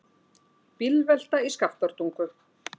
Bílvelta í Skaftártungu